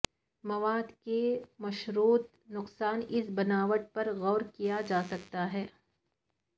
مواد کی مشروط نقصان اس بناوٹ پر غور کیا جا سکتا ہے